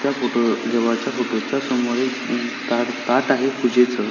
त्या फोटो देवाच्या फोटो समोर एक ता ताट आहे पूजेच --